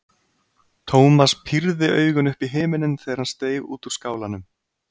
Thomas pírði augun upp í himininn þegar hann steig út úr skálanum.